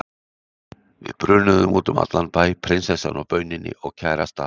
Við brunuðum út um allan bæ, prinsessan á bauninni og kærasta